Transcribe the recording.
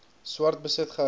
swart besit gehou